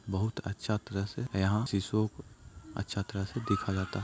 बहुत अच्छा दृश्य है। यहाँ सिसुओ को अच्छा तरह से देखा जाता।